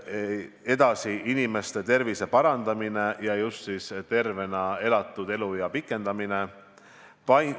Edasi, inimeste tervise parandamine ja just tervena elatud eluea pikendamine.